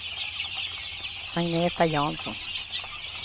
Agneta Jansson